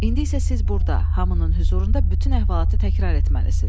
İndi isə siz burada hamının hüzurunda bütün əhvalatı təkrar etməlisiz.